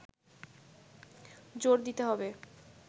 জোড় দিতে হবে